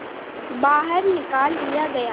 बाहर निकाल दिया गया